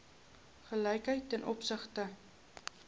gelykheid ten opsigte